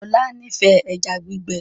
Ola n'ifẹ ejá gbígbé